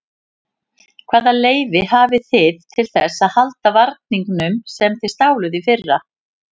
Hvaða leyfi hafið þið til þess að halda varningnum sem þið stáluð í fyrra?